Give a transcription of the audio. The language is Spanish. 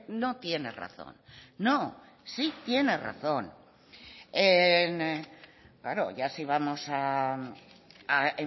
no tiene razón no sí tiene razón claro ya si vamos a